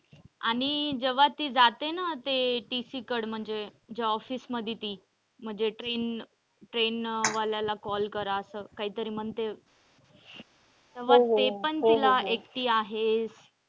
आणि जेव्हा ती जाते ना ते TC कड म्हणजे ज्या office मध्ये ती म्हणजे train train वाल्याला call करा असं कायतरी म्हणते तेव्हा ते पण तिला एकटी आहेस?